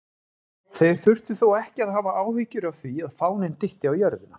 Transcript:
Þeir þurftu þó ekki að hafa áhyggjur af því að fáninn dytti á jörðina!